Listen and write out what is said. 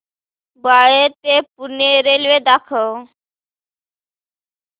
बाळे ते पुणे रेल्वे दाखव